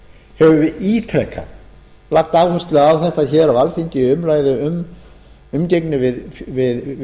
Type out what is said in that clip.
höfum við ítrekað lagt áherslu á þetta á alþingi í umgengni við